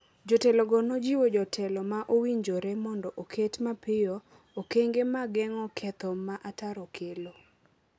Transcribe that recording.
Jotelogo nojiwo jotelo ma owinjore mondo oket mapiyo okenge mag geng’o ketho ma ataro kelo.